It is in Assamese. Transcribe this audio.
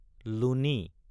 লুনি